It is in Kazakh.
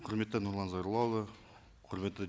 құрметті нұрлан зайроллаұлы құрметті